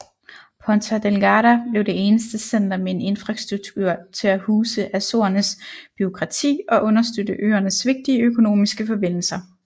Ponta Delgada blev det eneste center med en infrastruktur til at huse Azorernes bureaukrati og understøtte øernes vigtige økonomiske forbindelser